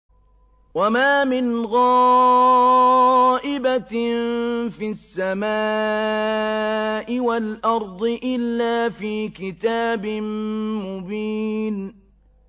وَمَا مِنْ غَائِبَةٍ فِي السَّمَاءِ وَالْأَرْضِ إِلَّا فِي كِتَابٍ مُّبِينٍ